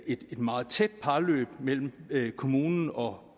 et meget tæt parløb mellem kommunen og